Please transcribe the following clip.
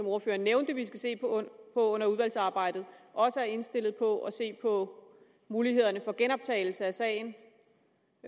ordføreren nævnte vi skal se på under udvalgsarbejdet også er indstillet på at se på mulighederne for genoptagelse af sagen